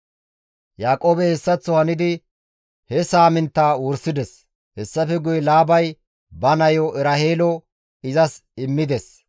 Yaaqoobey hessaththo hanidi he saaminttaa wursides; hessafe guye Laabay ba nayo Eraheelo izas immides.